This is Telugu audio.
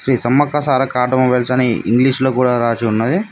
శ్రీ సమ్మక్క సారక్క ఆటో మొబైల్స్ అని ఇంగ్లీషులో కూడా రాసి ఉన్నది.